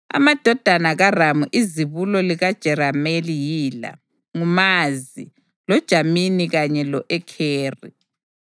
Amadodana kaRamu izibulo likaJerameli yila: nguMazi, loJamini kanye lo-Ekheri.